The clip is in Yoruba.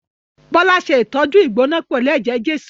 Bọ́lá ṣe ìtọ́jú ìgbóná pẹ̀lú ẹ̀jẹ̀ Jésù